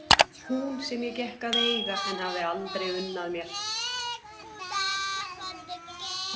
Hún sem ég gekk að eiga en hafði aldrei unnað mér?